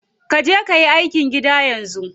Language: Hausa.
Kaje kayi aikin gida yanzu.